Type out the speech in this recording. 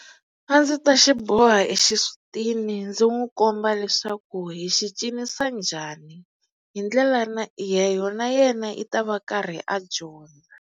A ndzi ta xi boha exisutini ndzi n'wi komba leswaku hi xi cinisa njhani hi ndlela na na yena i ta va karhi a dyondza.